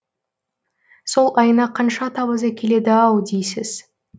сол айна қанша табыс әкеледі ау дейсіз